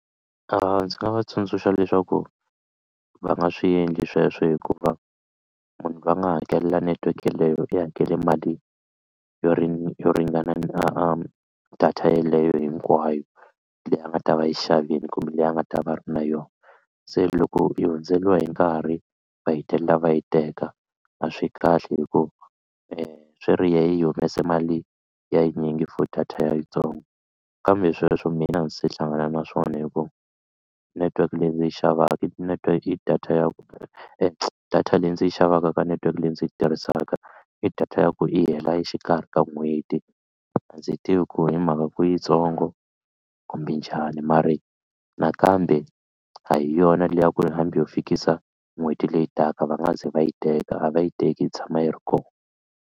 Ndzi nga va tsundzuxa leswaku va nga swi endli sweswo hikuva munhu loyi a nga hakelela network yaleyo i hakela mali yo yo ringana a a data yeleyo hinkwayo leyi a nga ta va yi xavini kumbe leyi a nga ta va ri na yona se loko yi hundzeriwa hi nkarhi va hetelela va yi teka a swi kahle hi ku swi ri yena i humese mali ya yinyingi for data ya yitsongo kambe sweswo mina a ndzi se hlangana na swona hi ku network leyi ndzi yi xavaka i network i data ya ku data leyi ndzi yi xavaka ka network leyi ndzi yi tirhisaka i data ya ku yi hela exikarhi ka n'hweti a ndzi yi tivi ku hi mhaka ku yitsongo kumbe njhani ma ri nakambe a hi yona leyi a ku ri hambi ho fikisa n'hweti leyi taka va nga ze va yi teka a va yi teki yi tshama yi ri kona.